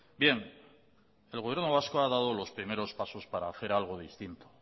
bien el gobierno vasco ha dado los primeros pasos para hacer algo distinto